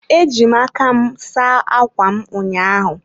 Eji m aka m saa ákwà m ụnyaahụ.